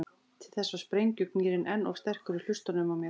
Til þess var sprengjugnýrinn enn of sterkur í hlustunum á mér.